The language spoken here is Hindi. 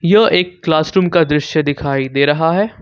यहां एक क्लास रूम का दृश्य दिखाई दे रहा है।